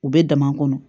U bɛ dama kɔnɔ